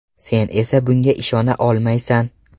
Sen esa bunga ishona olmaysan.